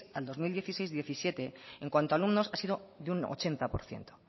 al dos mil dieciséis dos mil diecisiete en cuanto a alumnos ha sido de un ochenta por ciento